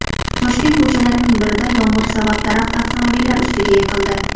Toshkent ko‘chalarining birida yomg‘ir sabab daraxt avtomobillar ustiga yiqildi .